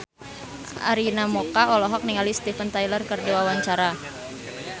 Arina Mocca olohok ningali Steven Tyler keur diwawancara